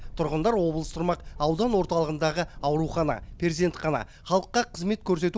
тұрғындар облыс тұрмақ аудан орталығындағы аурухана перзентхана халыққа қызмет көрсету